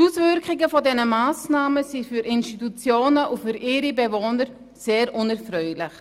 Die Auswirkungen dieser Massnahmen sind für Institutionen und ihre Bewohner sehr unerfreulich,